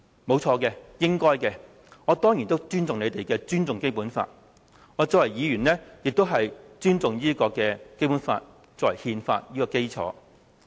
不錯，這是應該的，我當然也尊重《基本法》，我身為議員，也尊重《基本法》作為憲法的基礎。